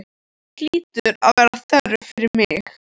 Hér hlýtur að vera þörf fyrir mig.